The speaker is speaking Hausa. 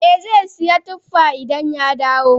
Eh Zai sayi tuffa idan ya dawo.